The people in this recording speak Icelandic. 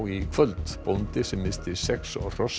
í kvöld bóndi sem missti sex hross